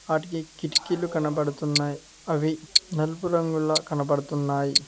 వాటికి కిటికీలు కనబడుతున్నాయి అవి నలుపు రంగుల కనబడుతున్నాయి